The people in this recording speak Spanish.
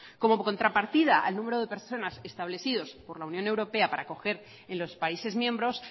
como contrapartida al número de personas establecido por la unión europea para acoger en los países miembros